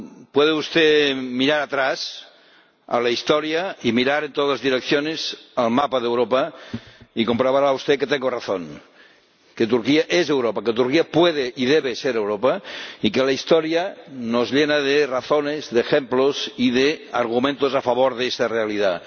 Puede usted mirar atrás en la historia y mirar en todas direcciones el mapa de Europa y comprobará usted que tengo razón, que Turquía es Europa. Que Turquía puede y debe ser Europa y que la historia nos llena de razones, de ejemplos y de argumentos a favor de esta realidad.